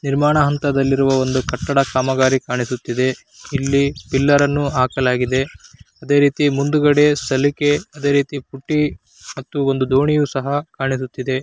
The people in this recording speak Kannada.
ನಿರ್ಮಾಣ ಹಂತದಲ್ಲಿರುವ ಒಂದು ಕಟ್ಟಡ ಕಾಮಗಾರಿ ಕಾಣಿಸುತ್ತಿದೆ. ಇಲ್ಲಿ ಪಿಲ್ಲರ್ ಅನ್ನು ಹಾಕಲಾಗಿದೆ. ಅದೇ ರೀತಿ ಮುಂದಾಗದೆ ಸಲಿಕೆ ಅದೇ ರೀತಿ ಪುಟ್ಟಿ ಮತ್ತೆ ಒಂದು ದೋಣಿಯು ಸಹಾ ಕಾಣಿಸುತ್ತಿದೆ.